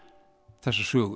þessa sögu